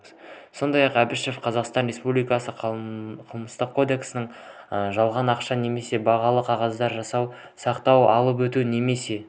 сондай-ақ әбішева қазақстан республикасы қылмыстық кодексінің жалған ақша немесе бағалы қағаздар жасау сақтау алып өту немесе